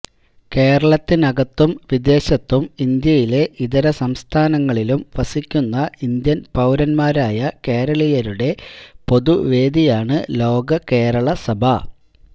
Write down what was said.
കേരളത്തിനകത്തും വിദേശത്തും ഇന്ത്യയിലെ ഇതര സംസ്ഥാനങ്ങളിലും വസിക്കുന്ന ഇന്ത്യന് പൌരരായ കേരളീയരുടെ പൊതുവേദിയാണ് ലോക കേരള സഭ